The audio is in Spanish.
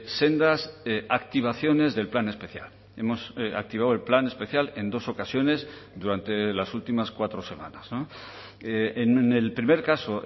sendas activaciones del plan especial hemos activado el plan especial en dos ocasiones durante las últimas cuatro semanas en el primer caso